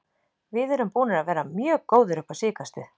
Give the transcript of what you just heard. Við erum búnir að vera mjög góðir upp á síðkastið.